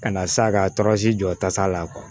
Ka na s'a ka tɔrɔsi jɔ tasa la